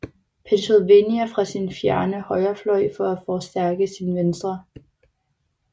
Pennsylvania fra sin fjerne højrefløj for at forstærke sin venstre